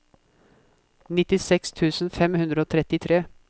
nittiseks tusen fem hundre og trettitre